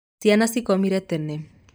Ciana cikomire tene.